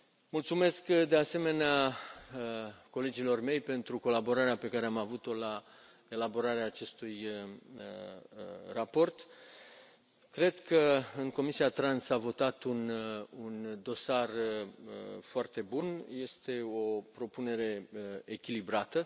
Mulțumesc, de asemenea, colegilor mei pentru colaborarea pe care am avut o la elaborarea acestui raport. Cred că în Comisia TRAN s a votat un dosar foarte bun, este o propunere echilibrată.